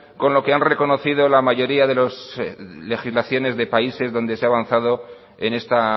con lo que han reconocido la mayoría de las legislaciones de países donde se ha avanzado en esta